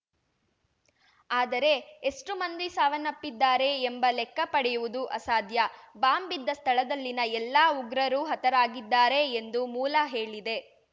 ಆದರೆ ಎಷ್ಟುಮಂದಿ ಸಾವನ್ನಪ್ಪಿದ್ದಾರೆ ಎಂಬ ಲೆಕ್ಕ ಪಡೆಯುವುದು ಅಸಾಧ್ಯ ಬಾಂಬ್‌ ಬಿದ್ದ ಸ್ಥಳದಲ್ಲಿನ ಎಲ್ಲಾ ಉಗ್ರರೂ ಹತರಾಗಿದ್ದಾರೆ ಎಂದು ಮೂಲ ಹೇಳಿದೆ